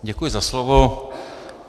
Děkuji za slovo.